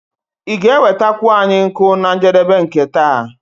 Ị ga-enwetakwu anyị nkụ na njedebe nke taa?